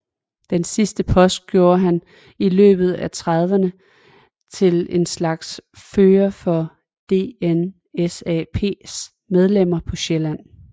Den sidste post gjorde ham i løbet af trediverne til en slags fører for DNSAPs medlemmer på Sjælland